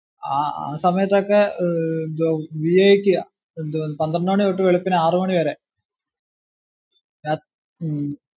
ആ സമയത്തു ഒക്കെ പന്ത്രണ്ട് മണി തൊട്ട് വെളുപ്പിന് ആറു മണി വരെ ഉം